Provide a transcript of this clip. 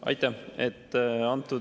Aitäh!